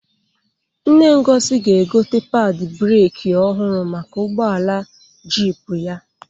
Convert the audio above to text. Nne Ngozi ga-egote padị breeki ọhụrụ maka ụgbọala jiipu ya.